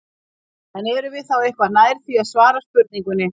En erum við þá eitthvað nær því að svara spurningunni?